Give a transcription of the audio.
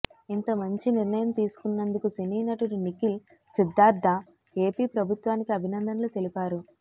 ఇంత మంచి నిర్ణయం తీసుకున్నందుకు సినీనటుడు నిఖిల్ సిద్దార్థ ఏపీ ప్రభుత్వానికి అభినందనలు తెలిపారు